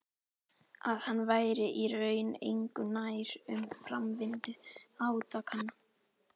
Að hann væri í raun engu nær um framvindu átakanna.